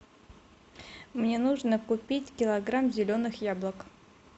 мне нужно купить килограмм зеленых яблок